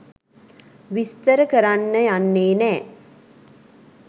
විස්තර කරන්න යන්නේ නෑ.